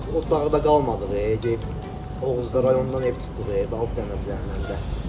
O dağda qalmadıq, gedib Oğuzda rayondan ev tutduq, balaca bir dənə də.